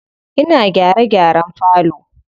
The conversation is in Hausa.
Ina gyare gyaren falo.